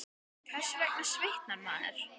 Hvers vegna svitnar maður?